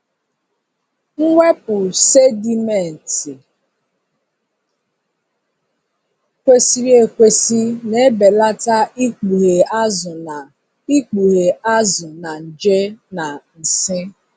Mwepụ sedimenti kwesịrị ekwesị na-ebelata ikpughe azụ na ikpughe azụ na nje na nsị.